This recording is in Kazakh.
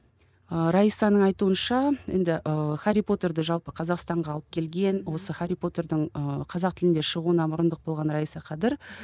ы раисаның айтуынша енді ы хәрри потерді жалпы қазақстанға алып келген осы хәрри потердің ы қазақ тілінде шығуына мұрындық болған раиса қадір